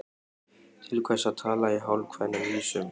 Til hvers að tala í hálfkveðnum vísum?